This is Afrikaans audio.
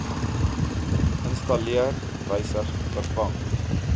installeer wysig vervang